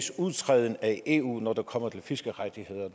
udtrædelse af eu når det kommer til fiskerettigheder